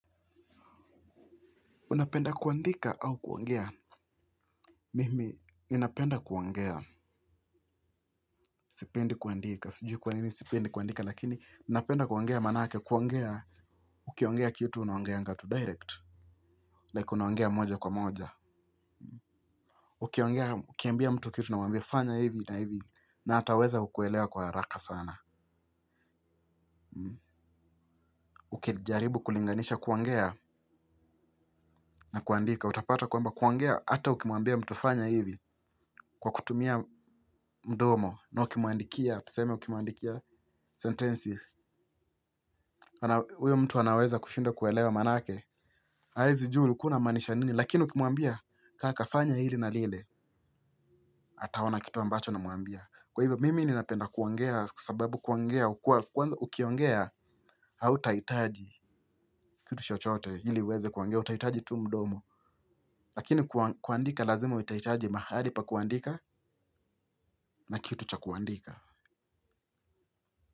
Unapenda kuandika au kuongea? Mimi, ninapenda kuongea. Sipendi kuandika. Sijui kwanini sipendi kuandika, lakini napenda kuongea manake kuongea. Ukiongea kitu unaongeanga tu direct. Like unaongea moja kwa moja. Ukiongea, ukiambia mtu kitu na umwambie fanya hivi na hivi na ataweza kukuelewa kwa haraka sana. Ukijaribu kulinganisha kuangea na kuandika. Utapata kuamba kuongea ata ukimuambia mtu fanya hivi kwa kutumia mdomo na ukimuandikia. Tuseme ukimuandikia sentensi huyo mtu anaweza kushindwa kuelewa manake. Haezijua ulikua unamaanisha nini. Lakini ukimuambia kaka fanya hili na lile ataona kitu ambacho unamuambia. Kwa hivyo mimi ninapenda kuongea. Kwa sababu kuongea Ukiongea Hautahitaji Kitu chochote ili uweze kuongea. Utaitaji tu mdomo. Lakini kuandika lazima utaitaji mahali pa kuandika. Na kitu cha kuandika.